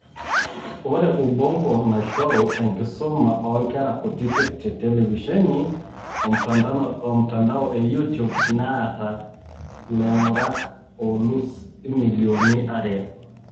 Ore Ubongo, naishoru enkisuma oonkera kutitik te televishen omtandao eyoutube, neeta laing'urak oolus imilioni are.